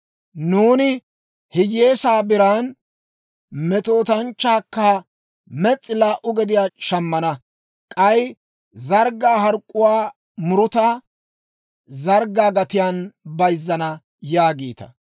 Nuuni hiyyeesaa biran, metootanchchaakka mes's'i laa"u gediyaa c'aamman shammana; k'ay zarggaa hark'k'uwaa muruta zarggaa gatiyaan bayizzana» yaagiita.